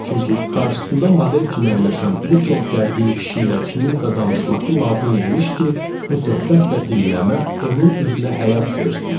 Çünki qarşısında model kimi əyləşən bu çox gərgin kişi ilə kiminsə danışması lazım imiş ki, bu söhbət və dinləmə onun üzünə həyat versin.